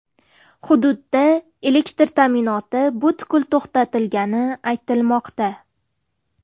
Hududda elektr ta’minoti butkul to‘xtatilgani aytilmoqda.